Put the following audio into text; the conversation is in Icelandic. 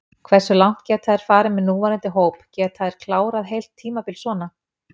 Hversu langt geta þeir farið með núverandi hóp, geta þeir klárað heilt tímabil svona?